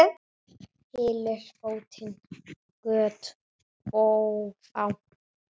Hylur bótin göt ófá.